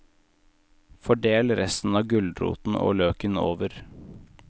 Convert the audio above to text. Fordel resten av gulroten og løken over.